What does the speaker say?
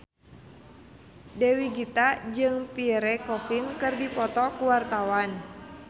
Dewi Gita jeung Pierre Coffin keur dipoto ku wartawan